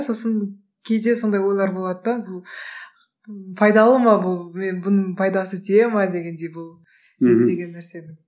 сосын кейде сондай ойлар болады да бұл пайдалы ма бұл мен бұның пайдасы тие ме дегендей бұл мхм зерттеген нәрсенің